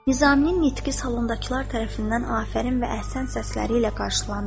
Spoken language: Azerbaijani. Nizamın nitqi salondakılar tərəfindən afərin və əhsən səsləri ilə qarşılandı.